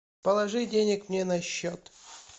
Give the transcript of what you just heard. положи денег мне на счет